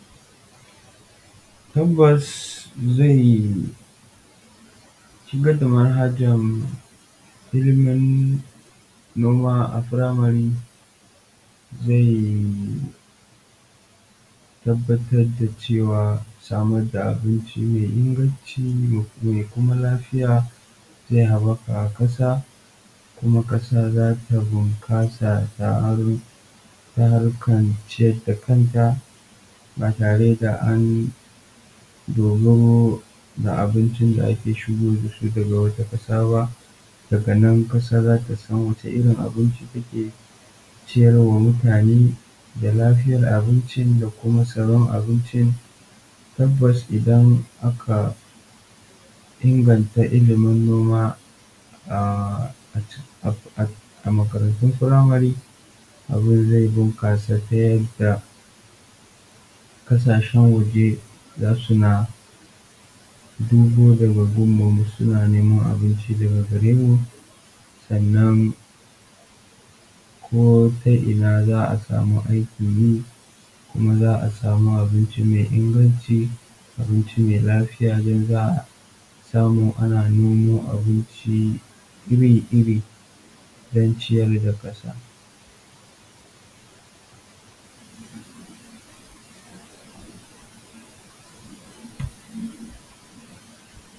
Tabbas shigar da manhajar ilimin noma a primary zai tabbatar da samr da abinci mai inganci kuma kasa za ta bunkasa ta harkan ciyar da kanta ba tare da an yi dogaro da abincin da ake shigo da ita daga wata kasa ba, daga nan kasa za ta san wani irin abinci ake ciyar wa mutane tabbas, Idan aka inganta ilimin noma a makarantun primary abun zai bunkasa ta yadda kasashen waje zasu dinga cin abinci daga garemu, sannan ko ta ina za a samu aikin yi kuma zaa samu abinci mai inganci don zaa rika noman abinci iri-iri don ciyar da kasa.